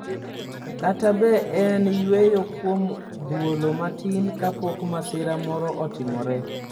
kata be en yweyo kuom thuolo matin kapok masira moro otimore?